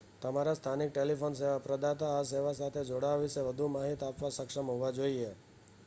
તમારા સ્થાનિક ટેલિફોન સેવા પ્રદાતા આ સેવા સાથે જોડાવા વિશે વધુ માહિતી આપવા સક્ષમ હોવા જોઈએ